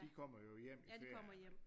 De kommer jo hjem i ferierne